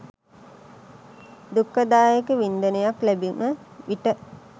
දුක්ඛ දායක වින්දනයක් ලැබුණ විට